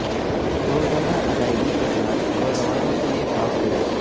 روزانہ ادائیگی کے ساتھ نوجوانوں کے لئے کام کریں